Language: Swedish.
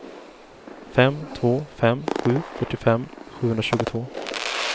fem två fem sju fyrtiofem sjuhundratjugotvå